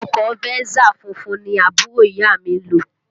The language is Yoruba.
Ọkọ Venza funfun ni àbúrò ìyá à mi ń lò